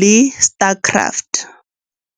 le Star Craft.